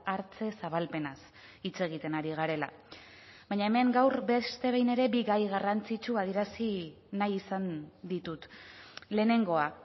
hartze zabalpenaz hitz egiten ari garela baina hemen gaur beste behin ere bi gai garrantzitsu adierazi nahi izan ditut lehenengoa